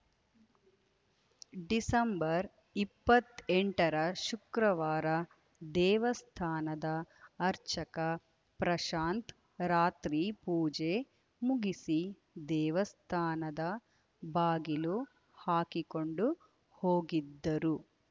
December ಇಪ್ಪತ್ತೆಂಟರ ಶುಕ್ರವಾರ ದೇವಸ್ಥಾನದ ಅರ್ಚಕ ಪ್ರಶಾಂತ್‌ ರಾತ್ರಿ ಪೂಜೆ ಮುಗಿಸಿ ದೇವಸ್ಥಾನದ ಬಾಗಿಲು ಹಾಕಿಕೊಂಡು ಹೋಗಿದ್ದರು